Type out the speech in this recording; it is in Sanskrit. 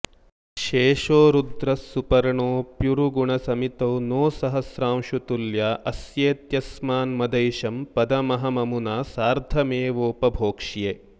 शेषो रुद्रः सुपर्णोऽप्युरुगुणसमितौ नो सहस्रांशुतुल्या अस्येत्यस्मान्मदैशं पदमहममुना सार्धमेवोपभोक्ष्ये